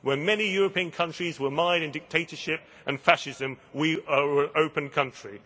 When many European countries were mired in dictatorship and fascism, we were an open country.